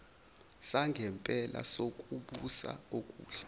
sangempela sokubusa okuhle